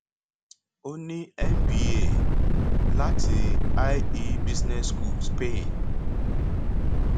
ó ní mba láti ie business school spain